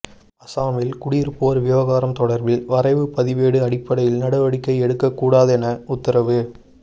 அசாமில் குடியிருப்போர் விவகாரம் தொடர்பில் வரைவு பதிவேடு அடிப்படையில் நடவடிக்கை எடுக்கக்கூடாதென உத்தரவு